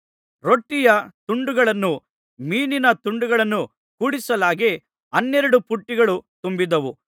ರೊಟ್ಟಿಯ ತುಂಡುಗಳನ್ನೂ ಮೀನಿನ ತುಂಡುಗಳನ್ನೂ ಕೂಡಿಸಲಾಗಿ ಹನ್ನೆರಡು ಪುಟ್ಟಿಗಳು ತುಂಬಿದವು